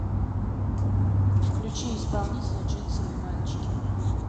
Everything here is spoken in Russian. включи исполнителя джинсовые мальчики